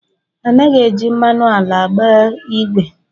Anaghị eji mmanụ ala agba ìgwè